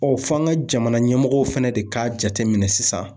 f'an ka jamana ɲɛmɔgɔw fɛnɛ de k'a jate minɛ sisan.